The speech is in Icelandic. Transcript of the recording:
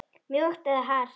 Mjúkt eða hart?